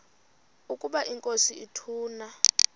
ukaba inkosi ituna